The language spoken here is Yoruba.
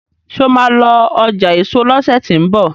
ṣe o má lọ ọjà eso lọsẹ ti n bọ